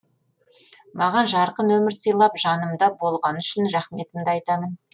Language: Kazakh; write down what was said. маған жарқын өмір сыйлап жанымда болғаны үшін рахметімді айтамын